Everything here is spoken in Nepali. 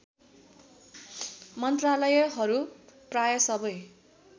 मन्त्रालयहरू प्राय सबै